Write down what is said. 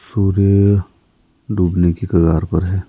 सूर्य डूबने की कगार पर है।